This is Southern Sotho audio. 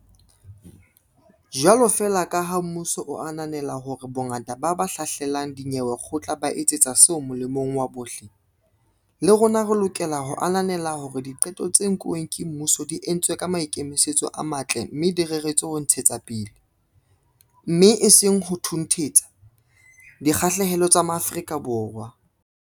Jwalo feela kaha mmuso o ananela hore bongata ba ba hlahlelang dinyewe kgotla ba etsa seo molemong wa bohle, le rona re lokela ho ananela hore diqeto tse nkuweng ke mmuso di entswe ka maikemisetso a matle mme di reretswe ho ntshetsapele, mme e seng ho thunthetsa, dikgahlehelo tsa Maafrika Borwa.